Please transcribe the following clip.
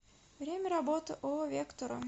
время работы ооо вектура